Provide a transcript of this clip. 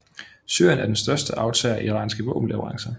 Syrien er den største aftager af iranske våbenleverancer